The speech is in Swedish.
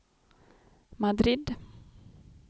Madrid